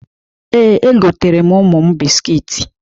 Ee, egoteere m ụmụ m biskiit.